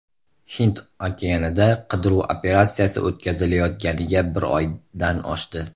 Hind okeanida qidiruv operatsiyasi o‘tkazilayotganiga bir oydan oshdi.